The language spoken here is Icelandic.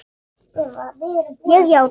Ég játa.